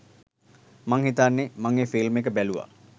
මං හිතන්නේ මං ඒ ෆිල්ම් එක බැලුවා!